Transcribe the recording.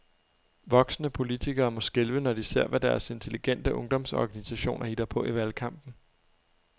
Voksne politikere må skælve, når de ser, hvad deres intelligente ungdomsorganisationer hitter på i valgkampen.